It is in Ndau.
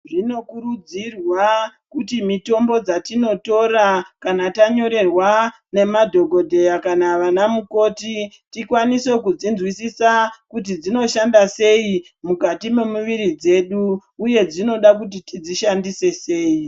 Zvino kurudzirwa kuti mitombo dzatino tora kana tanyorerwa ne madhokodheya kana vana mukoti tikwanise kudzi nzwisisa kuti dzinoshanda sei mukati me muviri dzedu uye dzinoda kuti tidzi shandise sei.